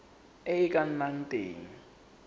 e e ka nnang teng